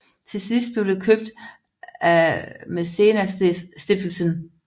Til sidst blev det købt af Maecenasstiftelsen